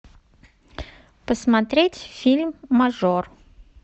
посмотреть фильм мажор